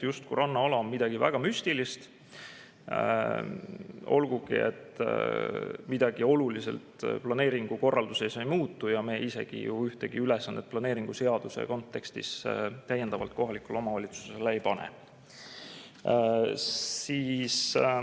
Rannaala on justkui midagi väga müstilist, olgugi et midagi oluliselt planeeringukorralduses ei muutuks ja me isegi ju ühtegi ülesannet planeeringuseaduse kontekstis täiendavalt kohalikele omavalitsustele ei pane.